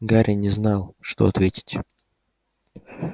гарри не знал что ответить